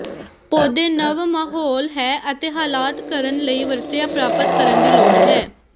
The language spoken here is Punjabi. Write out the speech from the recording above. ਪੌਦੇ ਨਵ ਮਾਹੌਲ ਹੈ ਅਤੇ ਹਾਲਾਤ ਕਰਨ ਲਈ ਵਰਤਿਆ ਪ੍ਰਾਪਤ ਕਰਨ ਦੀ ਲੋੜ ਹੈ